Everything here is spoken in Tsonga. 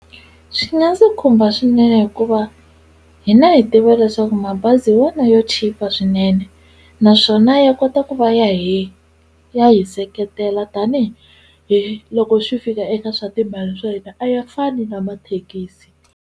Swi nga ndzi khumba swinene hikuva hina hi tiva leswaku mabazi hi wona yo chipa swinene naswona ya kota ku va ya hi ya hi seketela tanihiloko swi fika eka swa timali swa hina a ya fani na mathekisi.